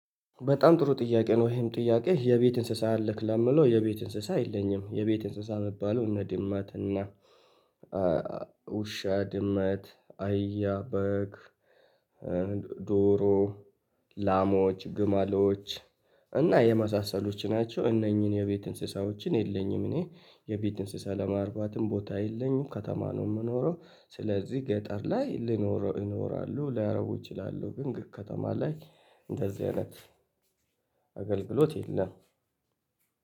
በጣም ጥሩ ጥያቄ ነው። ይሄም ጥያቄ የቤት እንስሳ አለክ? ለምሌው የቤት እንስሳ የለኝም። የቤት እንስሳ የሚባለው እነ ድመት እና ውሻ ድመት አህያ በግ ዶሮ ላሞች ግመሎች እና የመሳሰሎት ናቸው። እነኚህን የቤት እንስሳዎችን የለኝም። እኔ የቤት እንስሳ ለማርባትም ቦታ የለኝም ከተማ ነው የምኖረው ስለዚህ ገጠር ላይ ልኖረው ይኖራሉ ላያረቡ እችላለሁ። ግን ከተማ ላይ እንደዚህ አይነት አገልግሎት የለም።